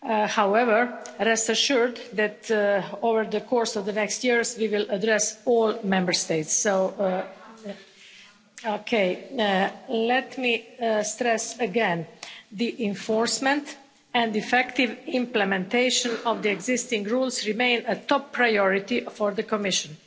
However, rest assured, that over the course of the next years, we will address all Member States. Let me stress again, the enforcement and effective implementation of the existing rules remain a top priority for the Commission.